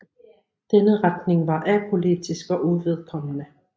Denne retning var apolitisk og uvedkommende